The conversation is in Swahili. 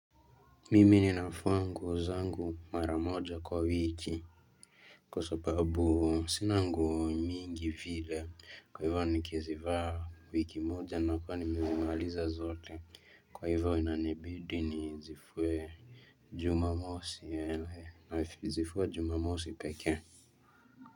Mimi ninafua nguo zangu maramoja kwa wiki. Kwa sababu sina nguo mingi vile kwa hivyo nikizivaa wiki moja na kuwa nimezimaliza zote kwa hivyo inanibidi nizifue. Jumamosi nazifua jumamosi pekee.